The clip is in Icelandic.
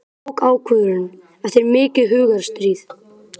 Ég tók ákvörðun eftir mikið hugarstríð.